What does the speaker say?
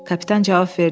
Kapitan cavab verdi.